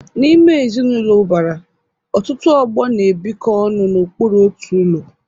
N'ime ezinụlọ ụbara, ọtụtụ ọgbọ na-ebikọ ọnụ n'okpuru otu ụlọ.